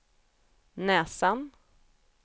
näsan